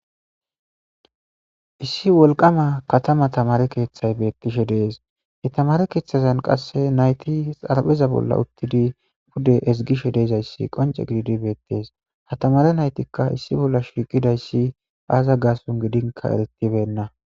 Issi wolqqama kathama thamare keeththay beeththishe de7ees; he thamaare keeththazan qasse naythi xarpheza bolla uththidi pude ezggishe de7izayssi qoncce gididi beeththes; ha thamaare naythikka issi bolla shiiqidayssi aaza gaason gidinkka ereththibeenna.